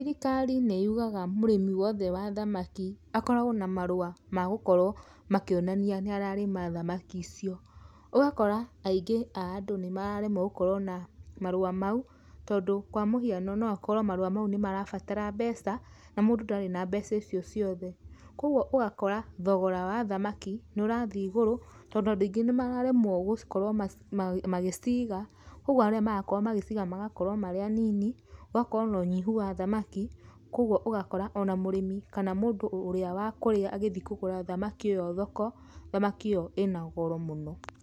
Thirikari nĩyugaga mũrĩmi wothe wa thamaki akoragwo na marũa ma gũkorwo makĩonania nĩ ararĩma thamaki icio. Ũgakora aingĩ a andũ nĩmararemwo gũkorwo na marũa mau tondũ kwa mũhiano no akorwo marũa mau nĩmarabatara mbeca, na mũndũ ndarĩ na mbeca icio ciothe. Kwogwo ũgakora thogora wa thamaki nĩ ũrathiĩ igũrũ tondũ andũ aingĩ nĩmararemwo gũkorwo magĩciga kwogwo arĩa marakorwo magĩciga magakorwo marĩ anini, gũgakorwo nonyihu wa thamaki, kwogwo ũgakora ona mũrĩmi kana mũndũ ũrĩa wa kũrĩa agĩthiĩ kũgũra thamaki ĩyo thoko, thamaki ĩyo ĩna goro mũno.